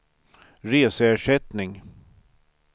reseersättning